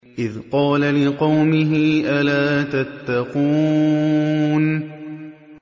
إِذْ قَالَ لِقَوْمِهِ أَلَا تَتَّقُونَ